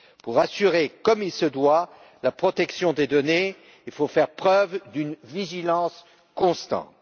Pour assurer comme il se doit la protection des données, il faut faire preuve d'une vigilance constante.